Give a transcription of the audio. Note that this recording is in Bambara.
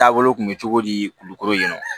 Taabolo kun bɛ cogo di kulukoro yen